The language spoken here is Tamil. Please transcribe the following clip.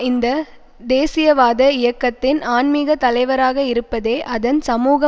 இந்த தேசியவாத இயக்கத்தின் ஆன்மீக தலைவராக இருப்பதே அதன் சமூக